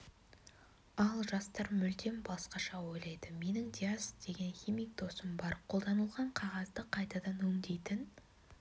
ал жастар мүлдем басқаша ойлайды менің диас деген химик досым бар қолданылған қағазды қайтадан өңдейтін